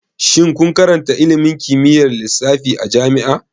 Shin kun karanta ilimin kimiyyar lissafi a jami'a?